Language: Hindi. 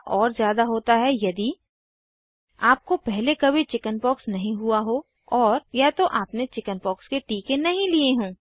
खतरा और ज़्याद होता है यदि आपको पहले कभी चिकिन्पॉक्स नहीं हुआ हो और या तो आपने चिकिन्पॉक्स के टीके नहीं लिए हों